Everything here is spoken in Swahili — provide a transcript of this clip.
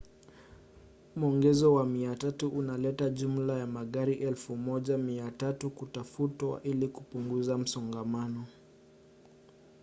mwongezo wa 300 unaleta jumla ya magari 1,300 kutafutwa ili kupunguza msongamano